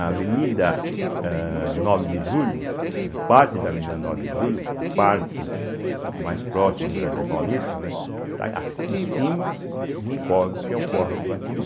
A Avenida eh Nove de Julho, né, parte da Avenida Nove de Julho, a parte mais próxima do Jardim Paulista, né, está a em cima de um córrego, que é o Córrego Iguatimi.